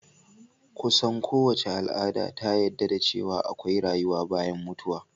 Kusan so wace al'ada ta yadda da ce wa akwai rayuwa bayan mutuwa